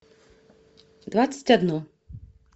двадцать одно